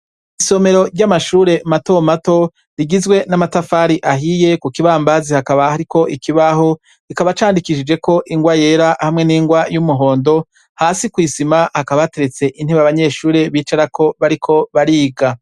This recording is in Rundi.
Isomero ry'amashure matomato rigizwe n'amatafari ahiye ku kibambazi hakaba hariko ikibaho rikaba candikishijeko ingwa yera hamwe n'ingwa y'umuhondo hasi kw'isima hakabateretse intibe abanyeshuri bicarako bariko bariga.